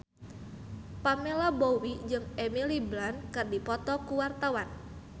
Pamela Bowie jeung Emily Blunt keur dipoto ku wartawan